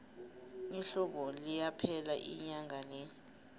ihlobo liyaphela inyanga le